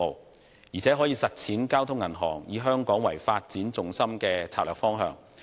再者，有關合併可以幫助交通銀行實踐以香港為發展重心的策略方向。